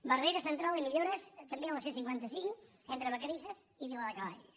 barrera central i millores també a la c cinquanta cinc entre vacarisses i viladecavalls